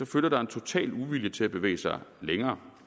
følger der en total uvilje til at bevæge sig længere